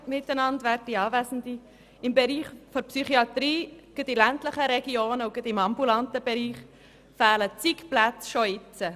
Bereits heute fehlen gerade in ländlichen Regionen im Bereich der ambulanten Psychiatrie zig Plätze.